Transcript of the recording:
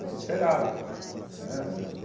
Desesperada porque né.